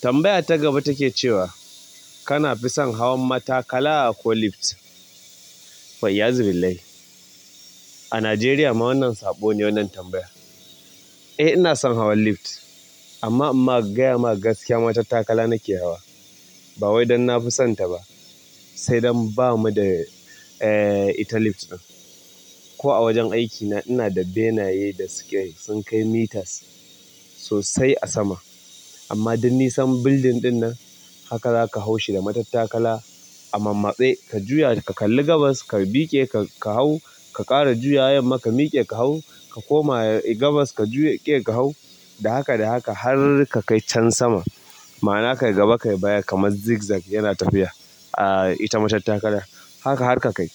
Tambaya ta gaba take cewa kana fison hawan matakala ko lift? Fa'iyazu. Billahi. A Najeriya ma wannan saɓo ne wannan tambayar. Eh ina son hawan lift, amma in ma ka gaya ma ga gaskiya matattakala nake hawa. Ba wai don na fi son ta ba, sai don ba mu da, eh, ita lift ɗin. Ko a wajen aikina ina da benaye da su ke sun kai meters sosai a sama. Amma duk nisan building ɗin nan haka za ka hau shi da matattakala. A mamatse ka juya ka kalli gabas ka miƙe ka hau, ka ƙara juyawa yamma ka miƙe ka hau, ka koma gabas ka juya ƙe. Ka hau, da haka da haka har ka kai can sama. Ma'ana kayi gaba kayi baya kamar zig-zag yana tafiya. Ah, ita matattakala. Haka har ka kai.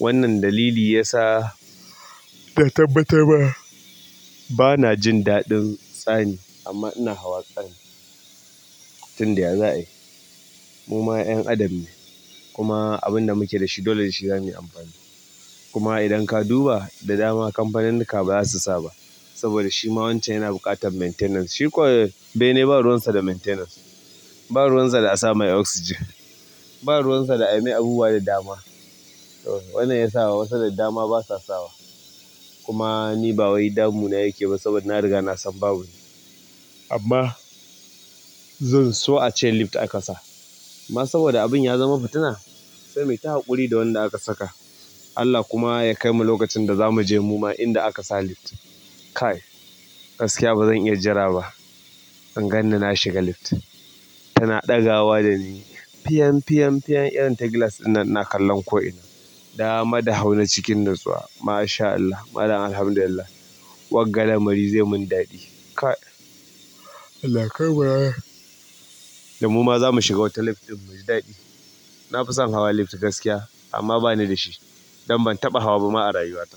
Wannan dalili ya sa na tabbatar ma, bana jin daɗin tsani amma ina hawa tsani tun da ya za ayi. Mu ma ƴan adam ne kuma abin da muke da shi dole dashi zamuyi amfani. Kuma idan ka duba da dama kamfanunnika ba za su sa ba saboda shi ma wancan yana buƙatar maintenance. Shi kuwa bene ba ruwan sa da maintenance. Ba ruwan sa da a sa mai oxygen. Ba ruwan sa da a yi mai abubuwa da dama. Wannan ya sa wasu da dama ba sa sawa. Kuma ni ba wai damuna yake ba saboda na riga na san babu. Amma zan so a ce lift aka sa. Amma saboda abun ya zama fitina sai muyi ta haƙuri da wanda aka saka. Allah kuma ya kai mu lokacin da za mu je mu ma inda aka sa lift. Kai, gaskiya ba zan iya jira ba. In ganni na shiga lift tana ɗagawa da ni. Piyan, piyan, piyan irin ta glass ɗinnan ina kallon ko ina. Dama da hauni cikin nutsuwa. Masha Allah, malam Alhamdulillah. Wagga lamari zai mun daɗi. Kai, Allah ya kai mu ranar, da mu ma za mu shiga wata lift ɗin mu ji daɗi. Na fi son hawa lift gaskiya amma bani da shi don ban taɓa hawa ba ma a rayuwata.